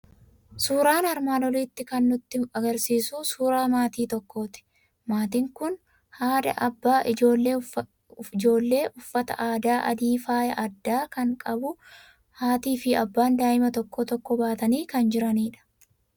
Suuraan armaan olii kan inni nutti argisiisu suuraa maatii tokkooti. Maatiin kun haadha, abbaa, ijoollee uffata aadaa adii faaya addaa kan qabu. Haatii fi abbaan daa'ima tokko tokko baatanii kan jiranidha.